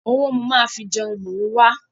Owó mo máa fi jẹun ni mò ń wa.